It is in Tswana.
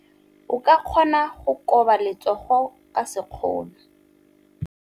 O ka kgona go koba letsogo ka sekgono.